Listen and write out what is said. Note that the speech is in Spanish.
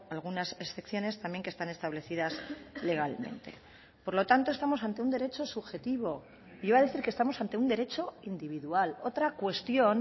algunas excepciones también que están establecidas legalmente por lo tanto estamos ante un derecho subjetivo iba a decir que estamos ante un derecho individual otra cuestión